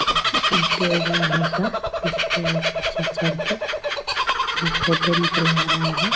है ऐसा उसपे अच्छा-अच्छा आके फोटो निकलवा रहा है।